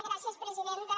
gràcies presidenta